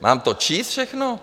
Mám to číst všechno?